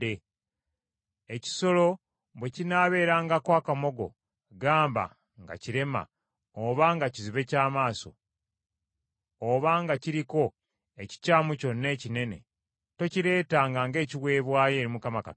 Ekisolo bwe kinaabeerangako akamogo, gamba nga kirema, oba nga kizibe kya maaso, oba nga kiriko ekikyamu kyonna ekinene, tokireetanga ng’ekiweebwayo eri Mukama Katonda wo.